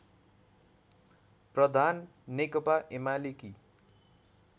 प्रधान नेकपा ऐमालेकी